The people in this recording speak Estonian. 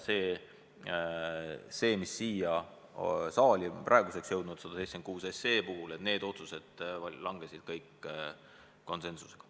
See, mis siia saali praeguseks on jõudnud – 176 SE – kiideti heaks konsensusega.